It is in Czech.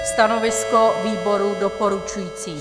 Stanovisko výboru doporučující.